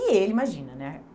E ele, imagina, né?